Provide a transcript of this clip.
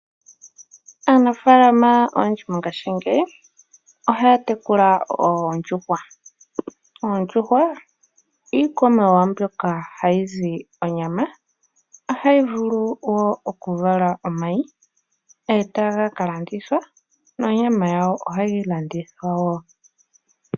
Aanafaalama oyendji mongashingeyi ohaya tekula oondjuhwa. Oondjuhwa iikwamawawa mbyoka hayi zi onyama, ohayi vulu wo okuvala omayi e taga ka landithwa nonyama yawo ohayi landithwa wo.